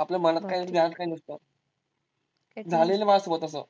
आपल्या मनात काही जास्त काही नसतं, झालेलं माझ्यासोबत असं